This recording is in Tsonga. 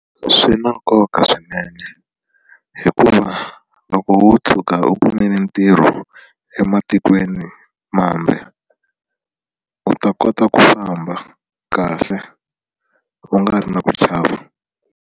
Swi na nkoka swinene hikuva loko wo tshuka u kumile ntirho ematikweni mambe u ta kota ku famba kahle u nga ri na ku chava.